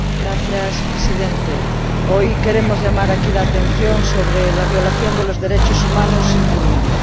Señor Presidente, hoy queremos llamar aquí la atención sobre la violación de los derechos humanos en Burundi.